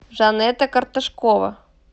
жанета карташкова